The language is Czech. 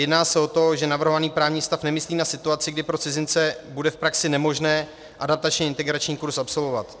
Jedná se o to, že navrhovaný právní stav nemyslí na situace, kdy pro cizince bude v praxi nemožné adaptačně integrační kurz absolvovat.